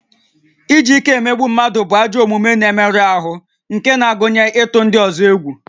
Iji ike emegbu mmadụ bụ ajọ omume na-emerụ ahụ nke na-agụnye ịtụ ndị ọzọ egwu